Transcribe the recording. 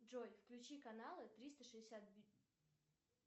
джой включи каналы триста шестьдесят